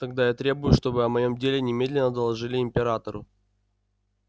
тогда я требую чтобы о моем деле немедленно доложили императору